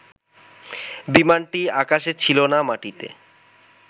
বিমানটি আকাশে ছিল না মাটিতে